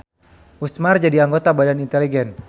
Usmar jadi anggota Badan Inteligen.